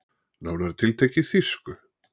Nánar tiltekið þýsku.